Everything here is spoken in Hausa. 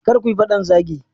Kar kuyi fadan zagi.